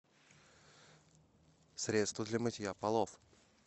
средство для мытья полов